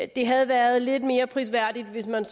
det havde været lidt mere prisværdigt hvis man